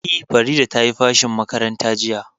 E, Farida ce ta yi fashin zuwa makaranta jiya.